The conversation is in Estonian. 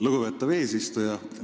Lugupeetav eesistuja!